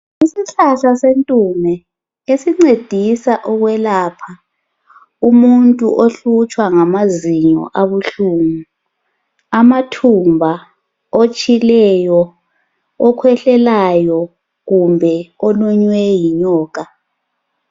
Isihlahla sentume esincedisa ukwelapha umuntu ohlutshwa ngamazinyo abuhlungu, amathumba ,otshileyo, okhwehlelayo kumbe olunywe yinyoka.